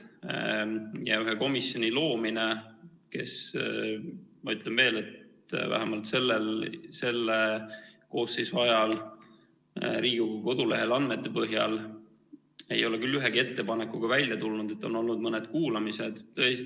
ühe komisjoni loomine, kes, ma ütlen veel, vähemalt selle koosseisu ajal Riigikogu kodulehe andmete põhjal ei ole küll ühegi ettepanekuga välja tulnud, on olnud küll mõned kuulamised.